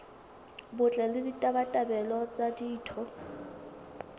botle le ditabatabelo tsa ditho